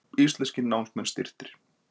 Íslenskir námsmenn styrktir